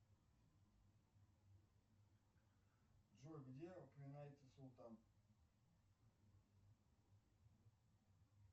джой где упоминается султан